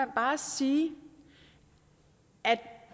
bare sige at